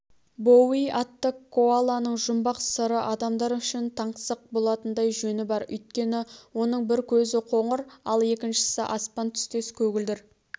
боуи атты коаланың жұмбақ сыры адамдар үшін таңсық болатындай жөні бар өйткені оның бір көзі қоңыр ал екіншісі аспан түстес көгілдір